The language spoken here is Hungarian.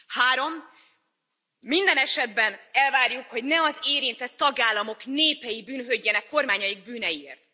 Három minden esetben elvárjuk, hogy ne az érintett tagállamok népei bűnhődjenek kormányaik bűneiért!